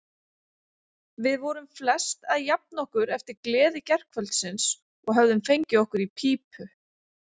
Við vorum flest að jafna okkur eftir gleði gærkvöldsins og höfðum fengið okkur í pípu.